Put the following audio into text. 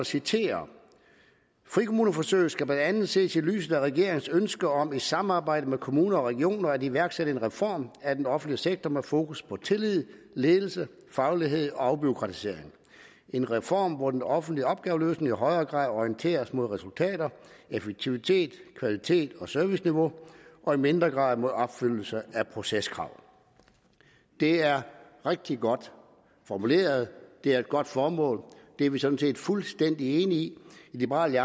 citere frikommuneforsøget skal blandt andet ses i lyset af regeringens ønske om i samarbejde med kommuner og regioner at iværksætte en reform af den offentlige sektor med fokus på tillid ledelse faglighed og afbureaukratisering en reform hvor den offentlige opgaveløsning i højere grad orienteres mod resultater effektivitet kvalitet og serviceniveau og i mindre grad mod opfyldelse af proceskrav det er rigtig godt formuleret det er et godt formål det er vi sådan set fuldstændig enige i i liberal